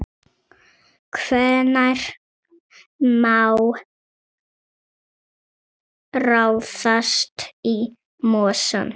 Hvenær má ráðast í mosann?